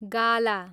गाला